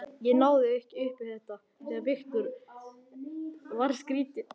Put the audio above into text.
Ég náði ekki upp í þetta.